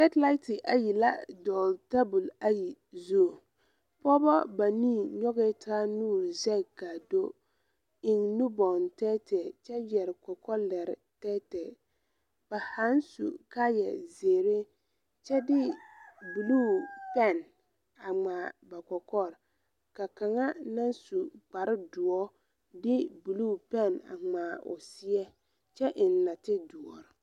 Sɛtilase ayi la a dɔgle tabol ayi zu pogebɔ banii nyogɛɛ taa nuure zegi kaa do eŋ nubɔŋ tɛɛtɛɛ kyɛ yɛre kɔkɔlɛre tɛɛtɛɛ ba zaaŋ su kaayɛ zeere kyɛ de bluu pɛn a ngmaa ba kɔkɔre ka kaŋa naŋ su kparre doɔ de bluu pɛn a ngmaa o seɛ kyɛ eŋ nate doɔre.